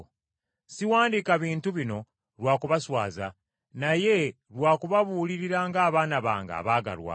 Siwandiika bintu bino lwa kubaswaza naye lwa kubabuulirira ng’abaana bange abaagalwa.